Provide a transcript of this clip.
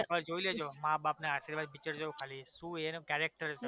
એક વાર જોઈ લેજો મા બાપના આશીર્વાદ picture જોવો ખાલી શું એનુ character છે